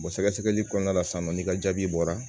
sɛgɛsɛgɛli kɔnɔna la sisan nɔ n'i ka jaabi bɔra